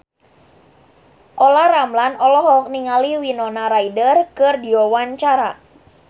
Olla Ramlan olohok ningali Winona Ryder keur diwawancara